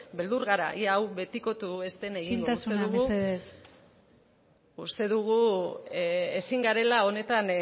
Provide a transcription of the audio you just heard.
beldur gara ea hau betikotu ez den isiltasuna mesedez uste dugu ezin garela honetan